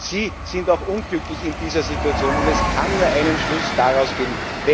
ist. Sie sind auch unglücklich in dieser Situation, und es kann nur einen Schluss daraus geben.